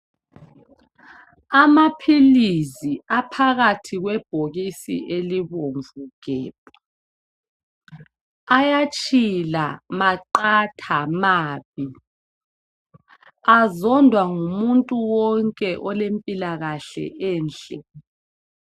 Amaphilisi aphakathi kwebhokisi elibomvu gebhu ayatshila maqatha mabi azondwa ngumuntu wonke olempila kahle enhle